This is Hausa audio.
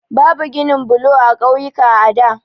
Babu ginin blo a ƙauyuka a da.